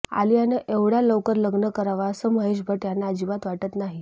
आलियानं एवढ्या लवकर लग्न करावं असं महेश भट्ट यांना अजिबात वाटत नाही